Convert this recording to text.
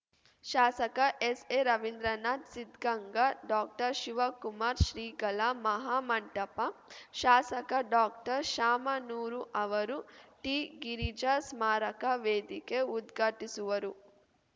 ಶಾಸಕ ಎಸ್‌ಎರವಿಂದ್ರನಾಥ್ ಸಿದ್ ಗಂಗಾ ಡಾಕ್ಟರ್ಶಿವಕುಮಾರ ಶ್ರೀಗಳ ಮಹಾಮಂಟಪ ಶಾಸಕ ಡಾಕ್ಟರ್ಶಾಮನೂರು ಅವರು ಟಿಗಿರಿಜಾ ಸ್ಮಾರಕ ವೇದಿಕೆ ಉದ್ಘಾಟಿಸುವರು